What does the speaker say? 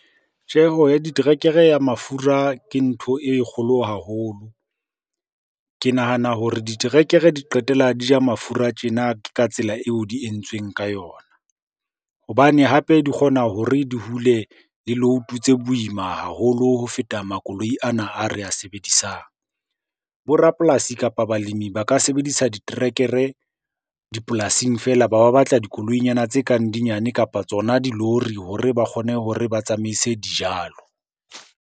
Tjeho ya diterekere ya mafura ke ntho e kgolo haholo. Ke nahana hore diterekere di qetella di ja mafura tjena ka tsela eo di entsweng ka yona. Hobane hape di kgona hore di hule le load-o tse boima haholo ho feta makoloi ana a re a sebedisang. Bo rapolasi, kapa balemi ba ka sebedisa diterekere dipolasing feela. Ba ba batla dikoloi nyana tse kang di nyane kapa tsona dilori hore ba kgone hore ba tsamaise dijalo.